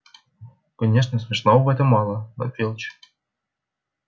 конечно смешного в этом мало но филч